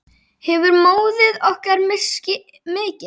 Hefur móðir okkar misst mikið.